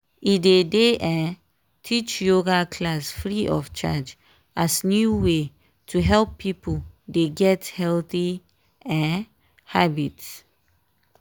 e dey dey um teach yoga class free of charge as new way to help pipo dey get healthy um habits.